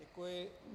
Děkuji.